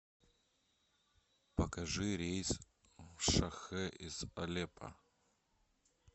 покажи рейс в шахэ из алеппо